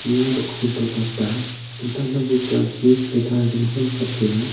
ia dingtang dingtang bosturangchi sile tarie donako nikatenga.